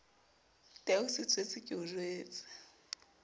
tau setswetse ke o jwetse